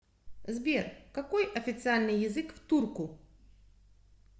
сбер какой официальный язык в турку